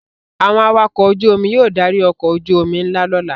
Àwọn awakọ̀ ojú-omi yóò darí ọkọ̀ ojú-omi ńlá lọ́la.